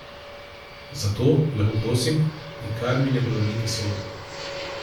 Zato, lepo prosim, nikar mi ne prevrnite soda!